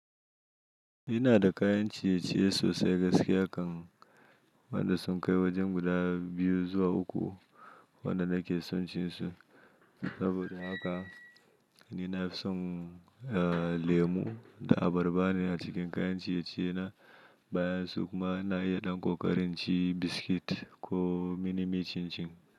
Ina da kayan ciye-ciye sosai gaskiya kam wanda sun kai wajen guda biyu zuwa uku wanda nake son cin su saboda haka ni nafi son lemu da abarba ne a cikin kayan ciye-ciye na baya su kuma na iya ɗan ƙoƙarin ci biskit ko minimie chin chin.